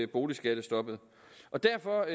boligskattestoppet derfor